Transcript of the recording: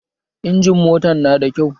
Injimin motan na da kyau